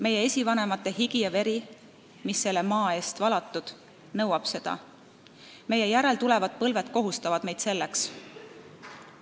Meie esivanemate higi ja veri, mis selle maa eest valatud, nõuab seda, meie järeltulevad põlved kohustavad meid selleks.